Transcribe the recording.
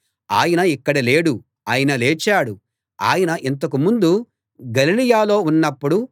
ఆయన ఇక్కడ లేడు ఆయన లేచాడు ఆయన ఇంతకు ముందు గలిలయలో ఉన్నప్పుడు